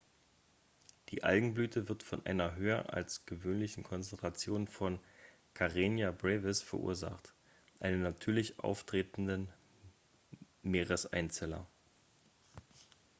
die algenblüte wird von einer höher als gewöhnlichen konzentration von karenia brevis verursacht einem natürlich auftretenden meereseinzeller